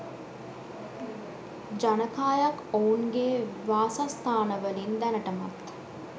ජනකායක් ඔවුන්ගේ වාසස්ථානවලින් දැනටමත්